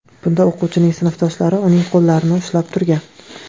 Bunda o‘quvchining sinfdoshlari uning qo‘llarini ushlab turgan.